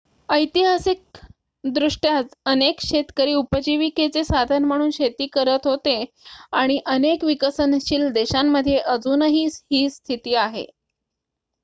ऐतिहासिकदृष्ट्या अनेक शेतकरी उपजीविकेचे साधन म्हणून शेती करत होते आणि अनेक विकसनशील देशांमध्ये अजूनही ही स्थिती आहे